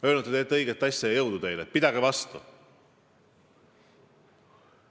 Öelnud, et te teete õiget asja ja jõudu teile, pidage vastu!